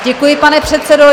Děkuji, pane předsedo.